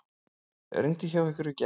Rigndi hjá ykkur í gær?